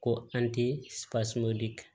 Ko an ti supaseman di kan